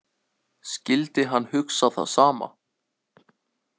Skyldi hann hugsa það sama?